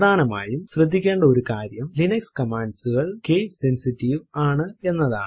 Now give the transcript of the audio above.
പ്രധാനമായും ശ്രദ്ധിക്കേണ്ട ഒരു കാര്യം ലിനക്സ് കമാൻഡ്സ് കൾ കേസ് സെൻസിറ്റീവ് ആണ് എന്നതാണ്